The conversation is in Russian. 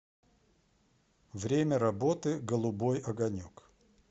время работы голубой огонек